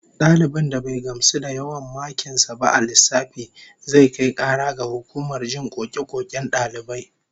Dalibin da bai gamsu da yawan makin sa ba a lissafi, zai kai kara ga hukumar jin koke-koken dalibai